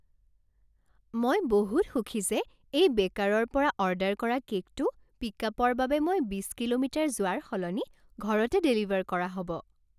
মই বহুত সুখী যে এই বেকাৰৰ পৰা অৰ্ডাৰ কৰা কে'কটো পিক্আপৰ বাবে মই বিছ কিলোমিটাৰ যোৱাৰ সলনি ঘৰতে ডেলিভাৰ কৰা হ'ব।